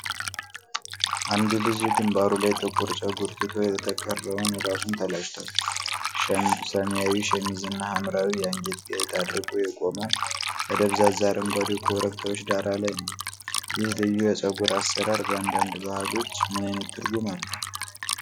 አንድ ልጅ ግንባሩ ላይ ጥቁር ፀጉር ትቶ የተቀረውን ራሱን ተላጭቷል። ሰማያዊ ሸሚዝ እና ሐምራዊ የአንገት ጌጥ አድርጎ የቆመው በደብዛዛ አረንጓዴ ኮረብታዎች ዳራ ላይ ነው። ይህ ልዩ የፀጉር አሠራር በአንዳንድ ባህሎች ምን አይነት ትርጉም አለው?